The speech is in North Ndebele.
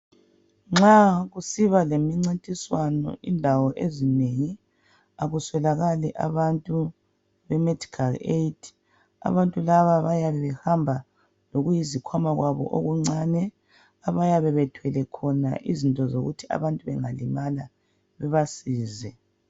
Nxa kusiba lemincintiswano indawo ezinengi akuswelakali abantu bemedical aid abantu laba bayabe behamba lokuyizikhwama kwabo okuncane abayabe bethwele khona izinto zokuthi abantu bengalimala bebasize.